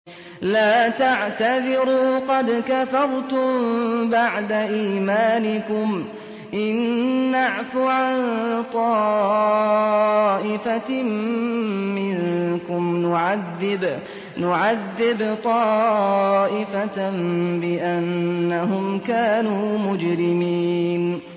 لَا تَعْتَذِرُوا قَدْ كَفَرْتُم بَعْدَ إِيمَانِكُمْ ۚ إِن نَّعْفُ عَن طَائِفَةٍ مِّنكُمْ نُعَذِّبْ طَائِفَةً بِأَنَّهُمْ كَانُوا مُجْرِمِينَ